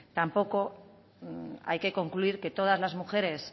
tampoco hay que concluir que todas las mujeres